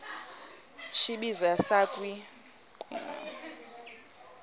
tsibizi sakhiwa kwimo